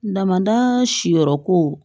Damadaa si yɔrɔ ko